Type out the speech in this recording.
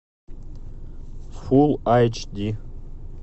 фулл айч ди